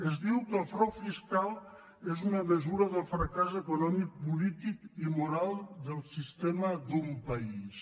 es diu que el frau fiscal és una mesura del fracàs econòmic polític i moral del sistema d’un país